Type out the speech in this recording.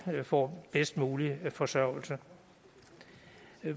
får bedst mulig forsørgelse